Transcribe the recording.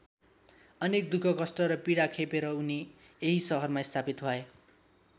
अनेक दुःख कष्ट र पीडा खेपेर उनी यही शहरमा स्थापित भए।